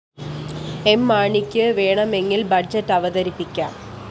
M മാണിക്ക് വേണമെങ്കില്‍ budget അവതരിപ്പിക്കാം